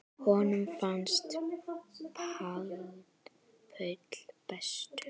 Honum fannst Paul bestur.